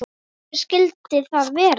Hver skyldi það vera?